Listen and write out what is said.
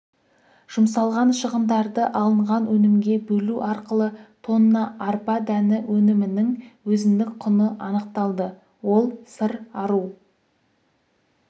жұмсалған шығындарды алынған өнімге бөлу арқылы тонна арпа дәні өнімінің өзіндік құны анықталды ол сыр ару